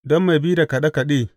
Don mai bi da kaɗe kaɗe.